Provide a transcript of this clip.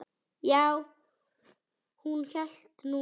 Já, hún hélt nú það.